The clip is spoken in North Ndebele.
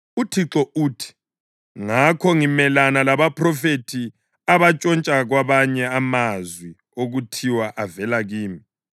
UThixo uthi, “Ngakho, ngimelana labaphrofethi abantshontsha kwabanye amazwi okuthiwa avela kimi.